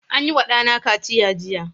An yi wa ɗana kaciya jiya.